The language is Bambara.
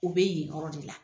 U bɛ yen yɔrɔ de la.